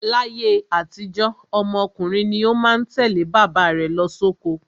Láyé àtijó, ọmọ ọkùnrin ni ó má ń tẹ̀lé bàbá rẹ̀ lọ sóko.